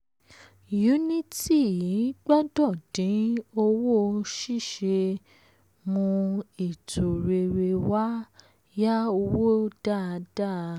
unity gbọ́dọ̀ dín owó ṣiṣẹ́ mu ètò rere wá yá owó dáadáa.